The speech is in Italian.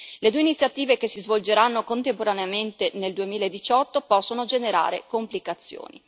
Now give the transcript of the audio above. Le due iniziative che si svolgeranno contemporaneamente nel 2018 possono generare complicazioni.